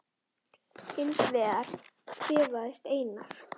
Hins vegar kvaðst Einar